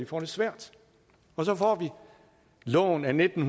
får det svært og så får vi loven af nitten